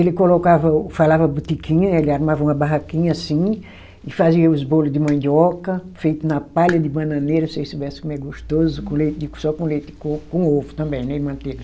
Ele colocava, falava botiquinha, ele armava uma barraquinha assim, e fazia os bolo de mandioca, feito na palha de bananeira, se vocês soubessem como é gostoso com leite de, só com leite de coco, com ovo também, né, e manteiga.